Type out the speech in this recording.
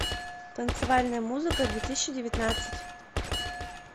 танцевальная музыка две тысячи девятнадцать